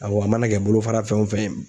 Awɔ a mana kɛ bolofara fɛn o fɛn ye.